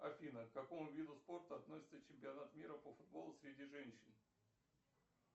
афина к какому виду спорта относится чемпионат мира по футболу среди женщин